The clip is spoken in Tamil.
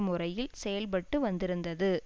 முறையில் செயல்பட்டு வந்திருந்தது